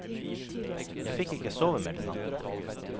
Jeg fikk ikke sove mer den natten.